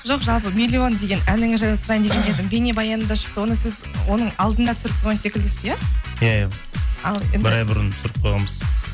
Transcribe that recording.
жоқ жалпы миллион деген әніңіз жайлы сұрайын деген едім бейнебаяны да шықты оны сіз оның алдында түсіріп қойған секілдісіз иә иә иә бір ай бұрын түсіріп қойғанбыз